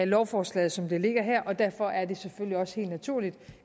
lovforslaget som det ligger her og derfor er det selvfølgelig også helt naturligt